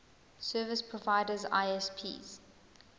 service providers isps